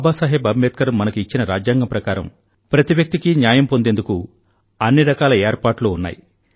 బాబా సాహెబ్ అంబేద్కర్ మనకు ఇచ్చిన రాజ్యాంగం ప్రకారం ప్రతి వ్యక్తి కీ న్యాయం పొందేందుకు అన్నిరకాల ఏర్పాట్లూ ఉన్నాయి